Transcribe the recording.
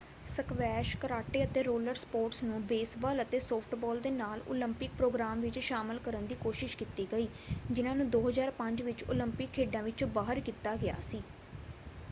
Squash karate ਅਤੇ roller sports ਨੂੰ baseball ਅਤੇ ਸੌਫਟਬਾਲ ਦੇ ਨਾਲ ਓਲੰਪਿਕ ਪ੍ਰੋਗਰਾਮ ਵਿੱਚ ਸ਼ਾਮਲ ਕਰਨ ਦੀ ਕੋਸ਼ਿਸ਼ ਕੀਤੀ ਗਈ ਜਿਨ੍ਹਾਂ ਨੂੰ 2005 ਵਿੱਚ ਓਲੰਪਿਕ ਖੇਡਾਂ ਵਿਚੋਂ ਬਾਹਰ ਕੀਤਾ ਗਿਆ ਸੀ।